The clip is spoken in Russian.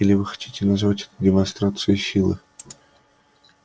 или вы хотите назвать демонстрацией силы